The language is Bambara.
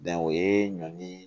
o ye ɲɔni